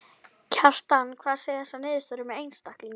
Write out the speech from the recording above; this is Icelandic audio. Kjartan: Hvað segja þessar niðurstöður um einstakling?